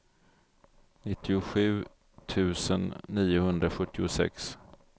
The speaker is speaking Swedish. nittiosju tusen niohundrasjuttiosex